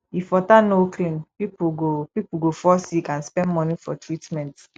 if water no clean pipo go pipo go fall sick and spend money for treatment